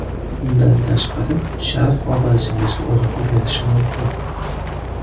Bundan tashqari sharf obrazingizga urg‘u berishi mumkin.